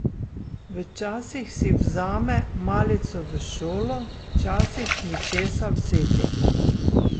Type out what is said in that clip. Včasih si vzame malico v šolo, včasih ni česa vzeti ...